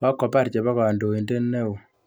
Kokobar chepo kandoindet neo.